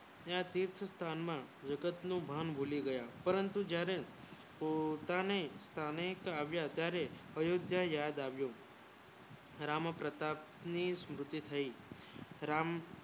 ને આ તીર્થ સ્થના માં વિગત ની ભાન ભૂલી ગયા પરંતુ જયારે પોતાને સોનેટ આવ્યા ત્યારે એ રીતે યાદ આવ્યું રામ પ્રતાપે ની સુરતી થાય રામ